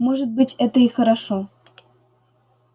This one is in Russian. может быть это и хорошо